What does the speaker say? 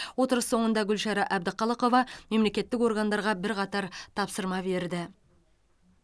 отырыс соңында гүлшара әбдіқалықова мемлекеттік органдарға бірқатар тапсырма берді